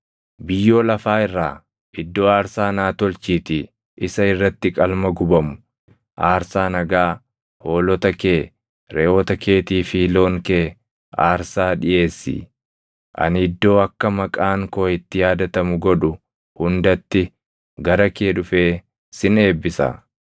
“ ‘Biyyoo lafaa irraa iddoo aarsaa naa tolchiitii isa irratti qalma gubamu, aarsaa nagaa, hoolota kee, reʼoota keetii fi loon kee aarsaa dhiʼeessi. Ani iddoo akka maqaan koo itti yaadatamu godhu hundatti gara kee dhufee sin eebbisa.